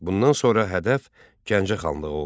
Bundan sonra hədəf Gəncə xanlığı oldu.